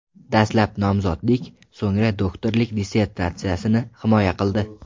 Dastlab nomzodlik, so‘ngra doktorlik dissertatsiyasini himoya qildi.